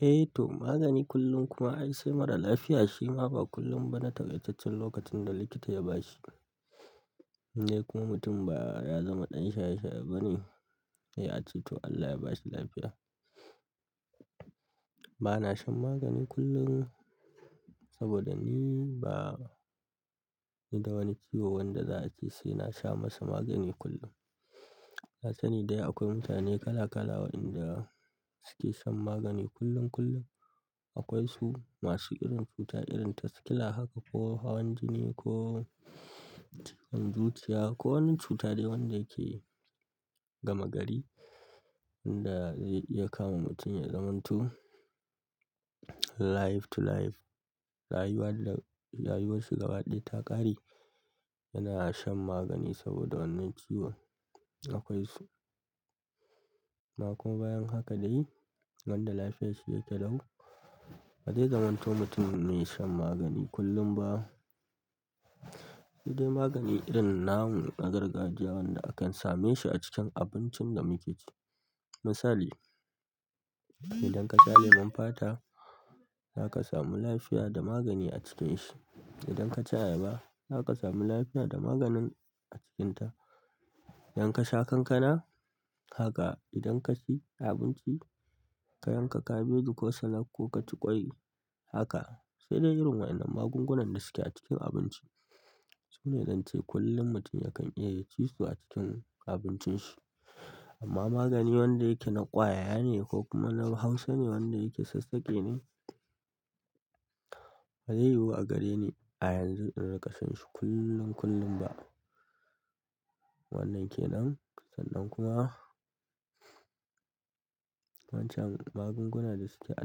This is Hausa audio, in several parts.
Eh to magani kullum kuma ai sai mara lafiya shi ma ba kullum ba na takai taccen lokacin da likita ya bashi. In dai kuma mutum ba ya zama ɗan shaye-shaye ba ne, sai a ce to Allah ya ba shi lafiya. Ba na shan magani kullum saboda ni ba ni da wani ciwo wanda za a ce sai na sha masa magani kullum. Na sani dai akwai mutane kala-kala waɗanda suke shan magani kullum kullum. Akwai su masu irin cuta irin ta ƙila haka ko hawan jini ko cutar zuciya ko wani cuta dai wanda yake gama gari inda zai iya kawo mutum ya zamanto life to life. Rayuwar da rayuwar shi gaba ɗaya ta ƙare. Yana shan magani saboda wannan ciwon. Akwai su ma kuma bayan haka dai wanda lafiyar shi yake lau, ba zai zamanto mutum mai shan magani kullum ba. Sai dai magani irin namu na gargajiya wanda akan same shi a cikin abincin da muke ci. Misali, idan ka sha lemon fata, za ka samu lafiya da magani a cikin shi. Idan ka ci ayaba, za ka samu lafiya da maganin a cikinta. Idan kasha kankana haka idan kaci abinci ka yanka kabeji ko salat ko kaci ƙwai haka sai dai irin waɗannan magungunan da suke a cikin abinci tsune zance kullum mutum yakan iya ya cisu acikin abincin shi amma magani wanda yake na ƙwaya ne ko kuma na hausa ne wanda yake sassaƙe ne, ba zai yiwu a gare ni a yanzu irinƙa shanshi kullum kullum ba. Wannan ke nan, sannan kuma wancan magungunan da suke a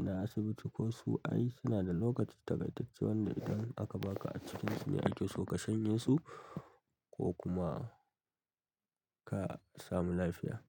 na asibiti ko su ai suna da lokaci takaitacce wanda idan aka baka a cikinsa ne ake so ka shanye su ko kuma ka samu lafiya.